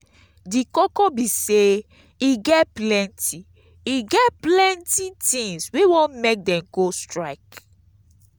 di koko be say e get e get plenty tins wey wan make dem go strike.